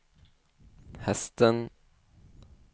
hästen